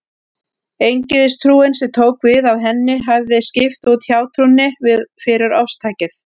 Eingyðistrúin, sem tók við af henni, hefði skipt út hjátrúnni fyrir ofstækið.